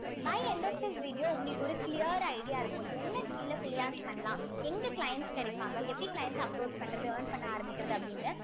by end of the video உங்களுக்கு ஒரு clear idea இருக்கும் என்ன skill அ freelance பண்ணலாம் எங்க clients கிடைப்பாங்க எப்படி clients ஆ approach பண்றது earn பண்ண ஆரம்பிக்கிறது அப்படின்னு